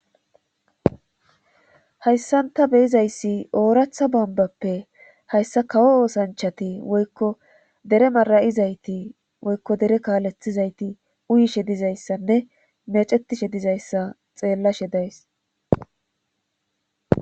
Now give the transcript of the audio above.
hayssanta beyizayssi ooratha bombappe hayssa kawo oosanchati woykko dere mara7izayti woykko dere kaalethizayti uyishe dizayssanne mecetishe dizayssa xeellashe dayise